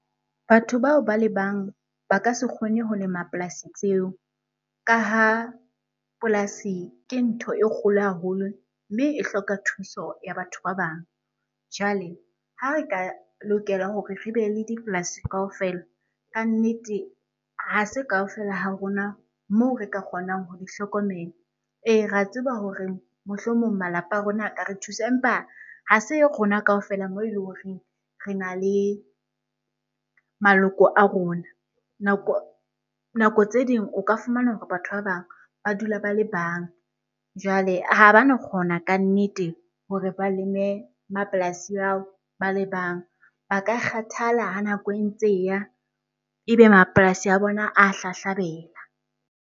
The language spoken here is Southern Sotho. Batho bao ba le bang ba ka se kgone ho lema polasi tseo. Ka ha polasi ke ntho e kgolo haholo mme e hloka thuso ya batho ba bang. Jwale ha re ka lokela hore re be le dipolasi kaofela, ka nnete ha se kaofela ha rona moo re ka kgonang ho di hlokomela. Ee, re a tseba hore mohlomong malapa a rona ka re thusa empa ha se rona kaofela moo eleng horeng rena le maloko a rona. Nako tse ding o ka fumana hore batho ba bang ba dula ba le bang, jwale ha bano kgona ka nnete hore ba leme mapolasing ao ba le bang. Ba ka kgathala ha nako e ntse e ya, ebe mapolasi a bona a hlahlabela.